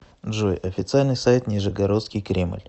джой официальный сайт нижегородский кремль